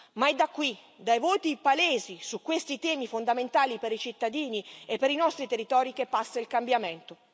Ma è da qui, dai voti palesi su questi temi fondamentali per i cittadini e per i nostri territori, che passa il cambiamento.